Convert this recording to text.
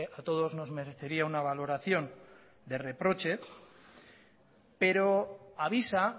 a todos nos merecería una valoración de reproche pero avisa